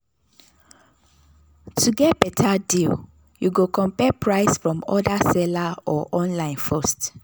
to get better deal you go compare price from other seller or online first.